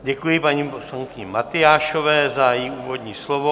Děkuji paní poslankyni Matyášové za její úvodní slovo.